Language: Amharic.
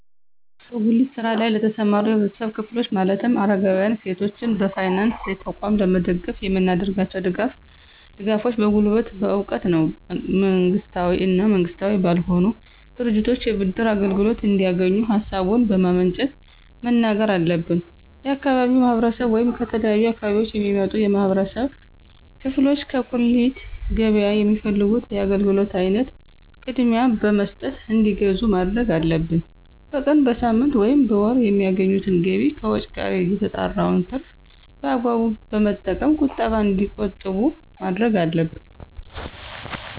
በጉሊት ስራ ለይ ለተሰማሩ የህብረተሰብ ክፍሎች ማለትም አረጋውያን፣ ሴቶችን በፋይናንስ ተቋም ለመደገፍ የምናደርጋቸው ድጋፎች በጉልበት፣ በእውቀት ነው። መንግስታዊ እና መንግስታዊ ባልሆኑ ድርጅቶች የብድር አገልግሎት እንዲያገኙ ሀሳቡን በማመንጨት መናገር አለብን። የአካባቢው ማህረሰብ ወይም ከተለያዩ አካባቢዎች የሚመጡ የህብረተሰብ ክፍሎች ከጉሊት ገበያ የሚፈልጉት የአገልግሎት አይነት ቅድሚያ በመስጠት እንዲገዙ ማድረግ አለብን። በቀን፣ በሳምንት፣ ወይም በወር የሚያገኙትን ገቢ ከወጭ ቀሪ የተጣራውን ትርፍ በአግባቡ በመጠቀም ቁጠባ እንዲቆጥቡ ማድረግ አለብን።